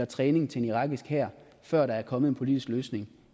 træning af den irakiske hær før der er kommet en politisk løsning